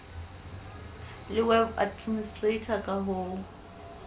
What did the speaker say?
le web administrator ka ho